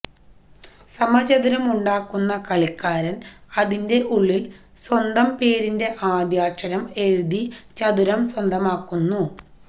സമച്ചതുരം ഉണ്ടാക്കുന്ന കളിക്കാരൻ അതിന്റെ ഉള്ളിൽ സ്വന്തം പേരിന്റെ ആദ്യാക്ഷരം എഴുതി ചതുരം സ്വന്തമാക്കുന്നു